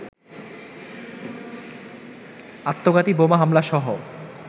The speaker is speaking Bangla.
আত্মঘাতী বোমা হামলাসহ